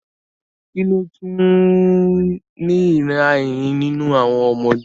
Kí ló ń tu ìnira eyín nínú àwọn ọmọdé?